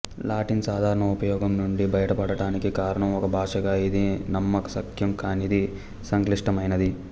Latin సాధారణ ఉపయోగం నుండి బయటపడటానికి కారణం ఒక భాషగా ఇది నమ్మశక్యం కానిది సంక్లిష్టమైనది